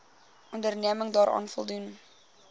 onderneming daaraan voldoen